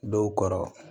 Dɔw kɔrɔ